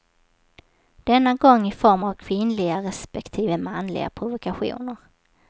Denna gång i form av kvinnliga respektive manliga provokationer.